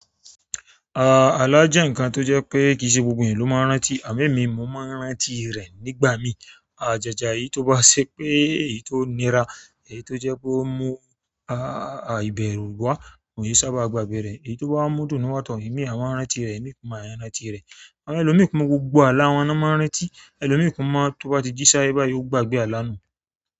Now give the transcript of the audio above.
Àlá jẹ́ nǹkan tó jẹ́ pé kì í ṣe gbogbo èèyàn ló máa ń rántí, àmọ́ èmi, mo máa ń rántí rẹ̀ nígbà míì. Jàjà èyí tó bá ṣe pé èyí tó nira, èyí tó jẹ́ pé ó mú ìbẹ̀rù wá, mo ìí sábà gbàgbé rẹ̀, èyí tó bá mú dùn wá tán, èmi a máa rántí rẹ̀, èmi kò máa rántí rẹ̀. Àwọn ẹlòmíì máa dùn gbogbo àlà wọn l'ọ́n máa ń rántí, ẹlòmíì kò máa, tó bá ti jí sáyé báyìí, yóò gbàgbé àlà nù.